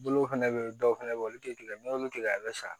Bolo fɛnɛ be yen dɔw fɛnɛ be yen olu te kelen ye n'i y'olu tigɛ a be sa